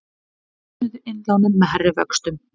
Söfnuðu innlánum með hærri vöxtum